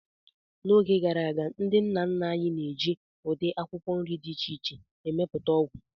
N'oge gara aga, ndị nna nna anyị na-eji ụdị akwụkwọ nri dị iche iche emepụta ọgwụ.